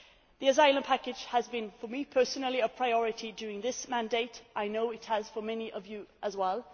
day. The asylum package has been, for me personally, a priority during this mandate. I know it has for many of you